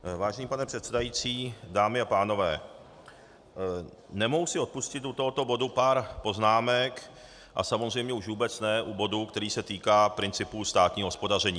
Vážený pane předsedající, dámy a pánové, nemohu si odpustit u tohoto bodu pár poznámek a samozřejmě už vůbec ne u bodu, který se týká principu státního hospodaření.